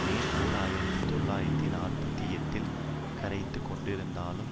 மே ஓர் ஆயிரத்தி தொள்ளாயிரத்து நாற்பத்தி எட்டில் கரைத்துக் கொண்டிருந்தாலும்